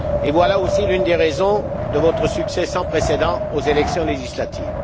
Voilà l'une des raisons de votre succès sans précédent aux élections législatives.